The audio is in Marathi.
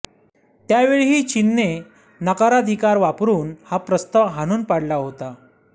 त्यावेळीही चीनने नकाराधिकार वापरुन हा प्रस्ताव हाणून पाडला होता